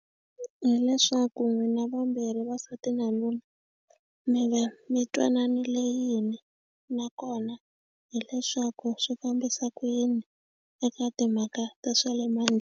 Hileswaku n'wina vambirhi va nsati na nuna m vai mi twananile yini nakona hileswaku swi fambisa ku yini eka timhaka ta swa le .